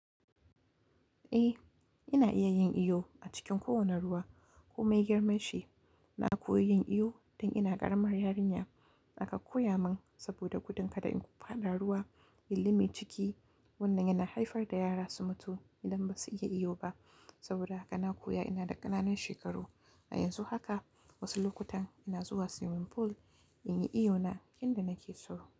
Eh, ina iya yin iyo a cikin kowane ruwa. Ko mai girman shi na koyi yin iyo tun ina ƙaramar yarinya. Naka koya mun saboda gudun kada in ƙu faɗa ruwa, yili mai ciki wannan yana haifar da yara su mutu idan ba su iya iyo ba. Saboda haka na koya ina da ƙananan shekaru. A yanzu haka wasu lokutan ina zuwa swimming pool in yi iyo na inda nake so.